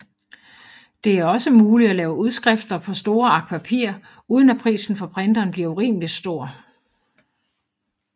Det er også muligt at lave udskrifter på store ark papir uden at prisen for printeren bliver urimeligt stor